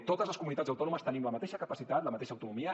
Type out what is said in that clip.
totes les comunitats autònomes tenim la mateixa capacitat la mateixa autonomia